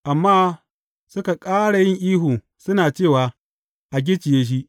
Amma suka ƙara yin ihu suna cewa, A gicciye shi!